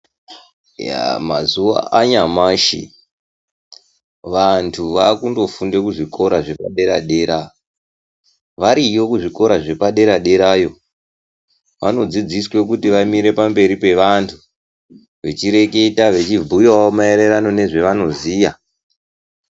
Mazuva anyamashi vantu vakundofunde kuzvikora zvepadera dera, variyo kuzvikora zvepa dera dera yoo, vanodzidziswe kuti vamire pamberi pevantu, vechireketa vechibhuyawo maererano nezvavanoziya.